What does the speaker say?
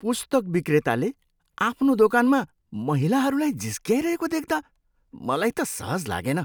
पुस्तक बिक्रेताले आफ्नो दोकानमा महिलाहरूलाई जिस्क्याइरहेको देख्दा मलाई त सहज लागेन।